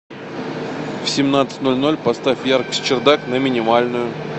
в семнадцать ноль ноль поставь яркость чердак на минимальную